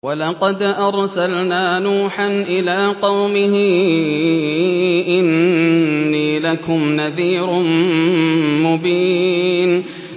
وَلَقَدْ أَرْسَلْنَا نُوحًا إِلَىٰ قَوْمِهِ إِنِّي لَكُمْ نَذِيرٌ مُّبِينٌ